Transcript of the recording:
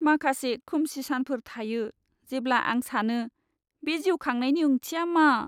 माखासे खोमसि सानफोर थायो जेब्ला आं सानो बे जिउ खांनायनि ओंथिया मा?